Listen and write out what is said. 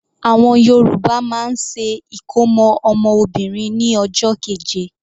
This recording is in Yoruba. Àwọn Yorùbá máa ń ṣe ìkómọ́ ọmọ Obìnrin ní ọjọ́ keje.